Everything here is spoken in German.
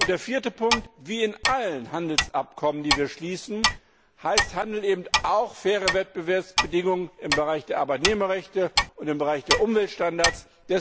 Der vierte Punkt Wie in allen Handelsabkommen, die wir schließen, heißt Handel eben auch faire Wettbewerbsbedingungen im Bereich der Arbeitnehmerrechte und im Bereich der Umweltstandards.